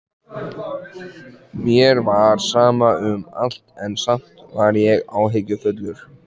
Mér var sama um allt, en samt var ég áhyggjufullur.